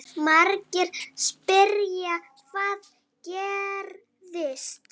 Margir spyrja: Hvað gerðist?